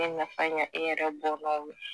bɛ nafa ɲɛ e yɛrɛ bɔnnaw ye